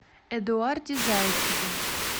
эдуарде зайцеве